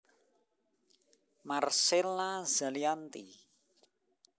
Marcella Zalianty